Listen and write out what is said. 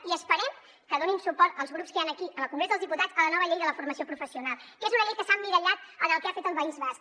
i esperem que donin suport als grups que hi han aquí en el congrés dels diputats a la nova llei de la formació professional que és una llei que s’ha emmirallat en el que ha fet el país basc